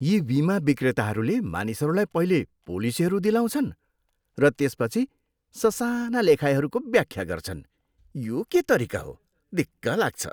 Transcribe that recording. यी बिमा विक्रेताहरूले मानिसहरूलाई पहिले पोलिसीहरू दिलाउँछन् र त्यसपछि ससाना लेखाइहरूको व्याख्या गर्छन्। यो के तरिका हो? दिक्क लाग्छ।